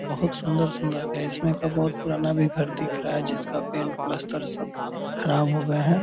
बहुत सुन्दर सुन्दर का इसमें का बहुत पुराना भी घर दिख रहा है जिसका पेंट प्लस्तर सब ख़राब हो गए हैं।